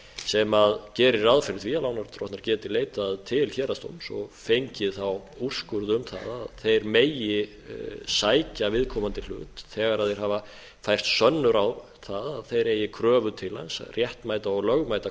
sem gerir ráð fyrir því að lánardrottnar geti leitað til héraðsdóms og fengið þá úrskurð um það að þeir megi sækja viðkomandi hlut þegar þeir hafa fært sönnur á að þeir eigi kröfu til hans réttmæta og lögmæta